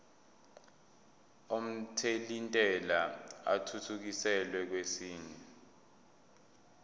omthelintela athuthukiselwa kwesinye